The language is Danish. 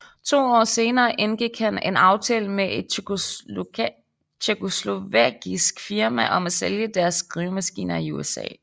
To år senere indgik han en aftale med et tjekkoslovakisk firma om at sælge deres skrivemaskiner i USA